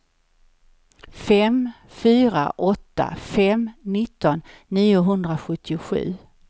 fem fyra åtta fem nitton niohundrasjuttiosju